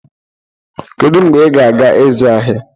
Kedu mgbe ị ga-aga ịzụ ahịa?